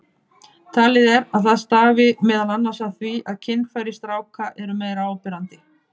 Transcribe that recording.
Talið er að það stafi meðal annars af því að kynfæri stráka eru meira áberandi.